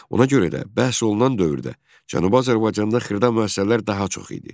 Ona görə də bəhs olunan dövrdə Cənubi Azərbaycanda xırda müəssisələr daha çox idi.